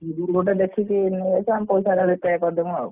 ସେଇଥିରୁ ଗୋଟେ ଦେଖିକି ନେଇଆସିବୁ ଆମେ ପଇସା ଆଦା କରି Repay କରିଦବୁ ଆଉ।